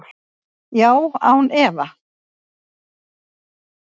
Já, án efa.